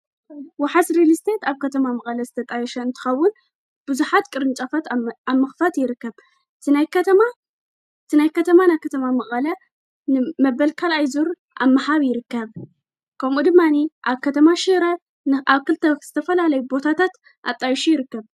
ወሓት ሬሊስተት ኣብ ከተማ መቐለ ዝተጣየሽ እንትኸቡን ብዙኃት ቅርኑጻፋት ኣመኽፋት ይርከብ ቲናይ ከተማ ናብ ኸተማ መቓላ መበልካልኣይዙር ኣመሃብ ይርከብ ከምኡ ድማኒ ኣብ ከተማ ሽረ ንዓክልተው ዝተፈልለይ ቦታታት ኣጣይሹ ይርከብ።